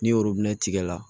Ni tigɛ la